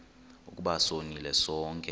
ukuba sonile sonke